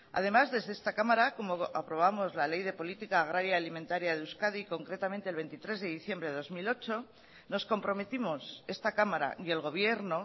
además desde esta cámara como aprobamos la ley de política agraria alimentaria de euskadi concretamente el veintitrés de diciembre de dos mil ocho nos comprometimos esta cámara y el gobierno